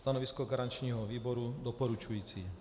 Stanovisko garančního výboru doporučující.